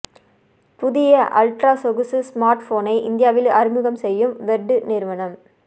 புதிய அல்ட்ரா சொகுசு ஸ்மார்ட்போனை இந்தியாவில் அறிமுகம் செய்யும் வெர்ட்டு நிறுவனம்